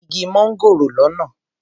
Mo rí igi mángòrò lọ́nà.